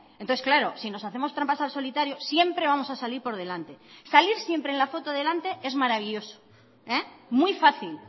entonces claro si nos hacemos trampas al solitario siempre vamos a salir por delante salir siempre en la foto delante es maravilloso muy fácil